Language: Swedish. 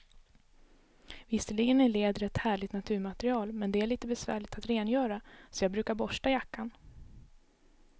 Visserligen är läder ett härligt naturmaterial, men det är lite besvärligt att rengöra, så jag brukar borsta jackan.